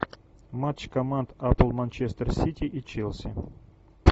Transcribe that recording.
матч команд апл манчестер сити и челси